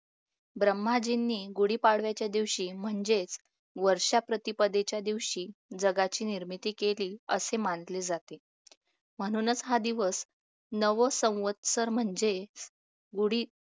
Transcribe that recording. ब्रह्माजींनी गुढीपाडव्याच्या दिवशी म्हणजेच वर्षप्रतिपदेच्या दिवशी जगाची निर्मिती केली असे मानले जाते म्हणूनच हा दिवस नवसवस्तर म्हणजे गुढी